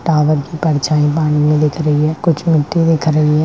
Tower की परछाई पानी मे दिख रही है कुछ मिट्टी दिख रही है।